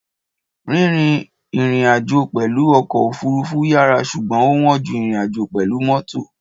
Rírìn ìrìnàjò pẹ̀lú ọkọ̀ òfurufú yàrá ṣùgbọ́n ó wọ́n ju ìrìnàjò pẹ̀lú mọ́tò.